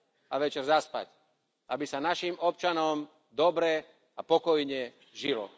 a večer zaspať, aby sa našim občanom dobre a pokojne žilo.